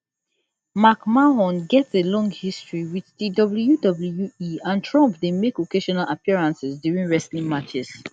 mcmahon get a long history wit di wwe and trump dey make occasional appearances during wrestling matches